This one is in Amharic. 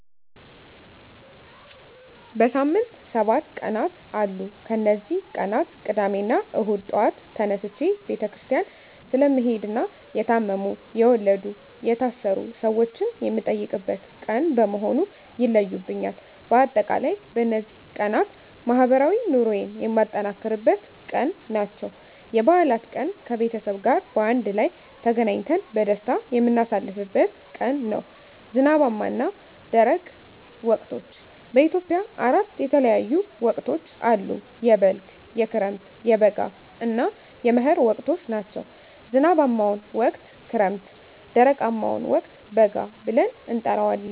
በሳምንት ሰባት ቀናት አሉ ከነዚህ ቀናት ቅዳሜና እሁድ ጧት ተነስቸ ቤተክርስቲያን ስለምሄድና የታመሙ፣ የወለዱ፣ የታሰሩ ሰወችን የምጠይቅበት ቀን በመሆኑ ይለዩብኛል። በአጠቃላይ በነዚህ ቀናት ማህበራዊ ኑሮየን የማጠናክርበት ቀን ናቸው። *የበዓላት ቀን፦ ከቤተሰብ ጋር በአንድ ላይ ተገናኝተን በደስታ የምናሳልፍበት ቀን ነው። *ዝናባማና ደረቅ ወቅቶች፦ በኢትዮጵያ አራት የተለያዩ ወቅቶች አሉ፤ የበልግ፣ የክረምት፣ የበጋ እና የመህር ወቅቶች ናቸው። *ዝናባማውን ወቅት ክረምት *ደረቃማውን ወቅት በጋ ብለን እንጠራዋለን።